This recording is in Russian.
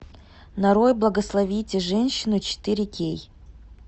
нарой благословите женщину четыре кей